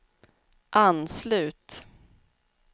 anslut